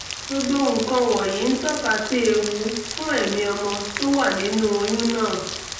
gbogbo nǹkan wọ̀nyìí ń tọ́ka sí ewu fún ẹ̀mí ọmọ tó wà nínú oyún náà